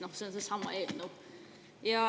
Ehk see on seesama eelnõu.